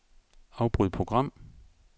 Afbryd program.